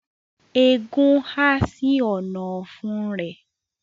Ẹgún ha sí Ọ̀nà-ọ̀fun rẹ